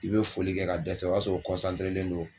I bɛ foli kɛ ka dɛsɛ o y'a sɔrɔ len don